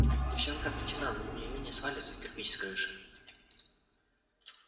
девчонка обречена но на неё не свалится кирпич с крыши